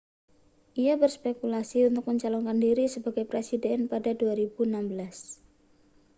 ia berspekulasi untuk mencalonkan diri sebagai presiden pada 2016